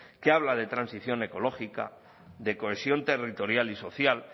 que habla de transición ecológica de cohesión territorial y social